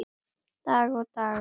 Í dag og alla daga.